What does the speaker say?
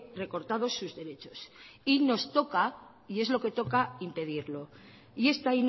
recortados sus derechos y nos toca y es lo que toca impedirlo y esta